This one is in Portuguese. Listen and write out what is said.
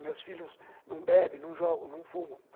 Meus filhos não bebem, não jogam, não fumam.